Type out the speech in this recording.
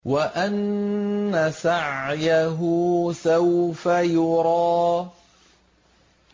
وَأَنَّ سَعْيَهُ سَوْفَ يُرَىٰ